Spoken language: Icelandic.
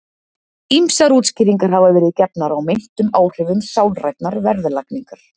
Ýmsar útskýringar hafa verið gefnar á meintum áhrifum sálrænnar verðlagningar.